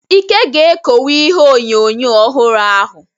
Ike ga-ekowe ihe onyonyo ọhụrụ ahụ.